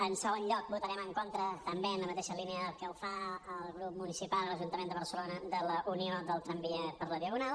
en segon lloc votarem en contra també en la mateixa línia que ho fa el grup municipal a l’ajuntament de barcelona de la unió del tramvia per la diagonal